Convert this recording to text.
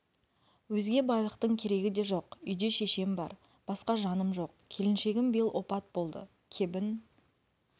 өзге байлықтың керегі де жоқ үйде шешем бар басқа жаным жоқ келіншегім биыл опат болды кебін